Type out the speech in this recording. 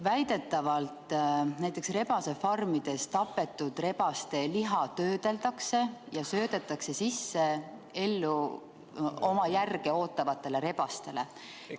Väidetavalt näiteks rebasefarmides tapetud rebaste liha töödeldakse ja söödetakse sisse oma järge ootavatele rebastele.